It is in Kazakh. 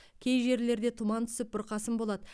кей жерлерде тұман түсіп бұрқасын болады